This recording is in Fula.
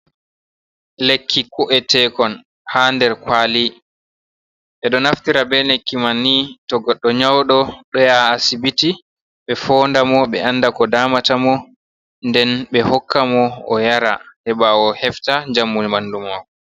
Lekki ko’etekon haa nder kwali, e ɗo naftira be lekki man ni to goɗɗo nyauɗo ɗo yaha asibiti ɓe fonda mo ɓe anda ko damata mo nden ɓe hokka mo o yara heɓa o hefta njamu ɓandu maako.